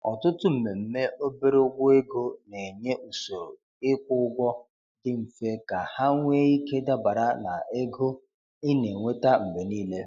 Ọtụtụ mmemme obere ụgwọ ego na-enye usoro ịkwụ ụgwọ dị mfe ka ha nwee ike dabara na ego ị na-enweta mgbe niile.